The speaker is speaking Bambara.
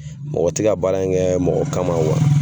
Mɔgɔ tɛ ka baara in kɛ mɔgɔ kama